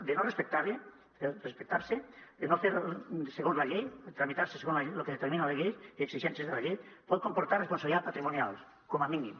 de no respectar se de no tramitar se segons el que determina la llei les exigències de la llei pot comportar responsabilitat patrimonial com a mínim